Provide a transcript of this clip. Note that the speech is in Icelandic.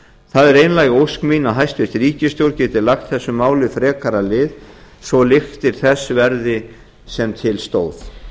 það er einlæg ósk mín að hæstvirt ríkisstjórn geti lagt þessu máli frekara lið svo lyktir þess verði sem til stóð